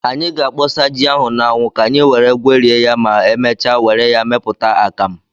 Anyị ga-akpọsa ji ahụ n'anwu ka anyi were gwerie ya ma emechaa were ya meputa akamu.